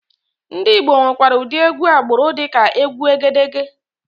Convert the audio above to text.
Ndị Igbo nwekwara ụdị egwú agbụrụ dịka egwu Egedegè.